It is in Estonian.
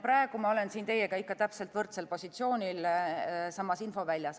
Praegu ma olen siin teiega ikka täpselt võrdsel positsioonil, samas infoväljas.